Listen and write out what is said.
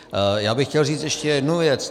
Já bych chtěl říct ještě jednu věc.